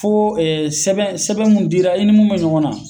Fo sɛbɛn sɛbɛn mun dira i ni mun bɛ ɲɔgɔn na.